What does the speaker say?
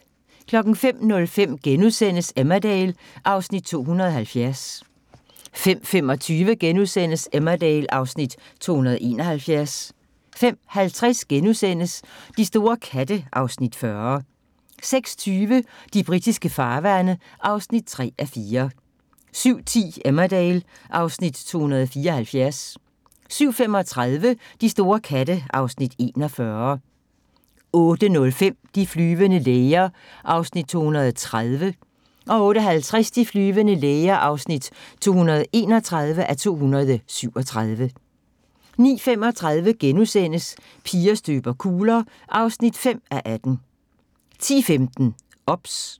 05:05: Emmerdale (Afs. 270)* 05:25: Emmerdale (Afs. 271)* 05:50: De store katte (Afs. 40)* 06:20: De britiske farvande (3:4) 07:10: Emmerdale (Afs. 274) 07:35: De store katte (Afs. 41) 08:05: De flyvende læger (230:237) 08:50: De flyvende læger (231:237) 09:35: Piger støber kugler (5:18)* 10:15: OBS